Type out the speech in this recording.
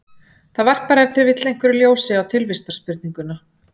Það varpar ef til vill einhverju ljósi á tilvistarspurninguna.